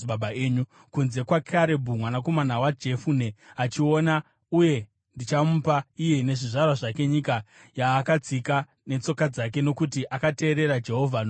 kunze kwaKarebhu mwanakomana waJefune achaiona, uye ndichamupa iye nezvizvarwa zvake nyika yaakatsika netsoka dzake nokuti akateerera Jehovha nomwoyo wose.”